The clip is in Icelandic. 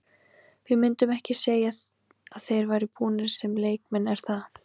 Við myndum ekki segja að þeir væru búnir sem leikmenn er það?